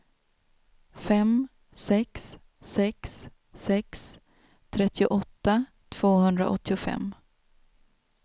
fem sex sex sex trettioåtta tvåhundraåttiofem